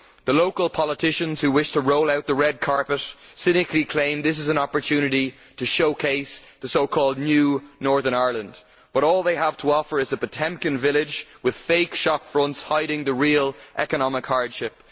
The local politicians who wish to roll out the red carpet cynically claim that this is an opportunity to showcase the so called new Northern Ireland, but all they have to offer is a Potemkin village with fake shopfronts hiding the real economic hardship.